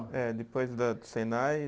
É, depois da do Senai.